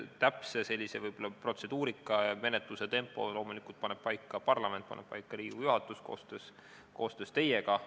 Täpse protseduurika, menetluse tempo paneb loomulikult paika parlament, paneb paika Riigikogu juhatus koostöös teiega.